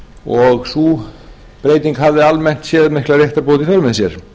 og sú breyting hafði almennt sér mikla réttarbót í för með sér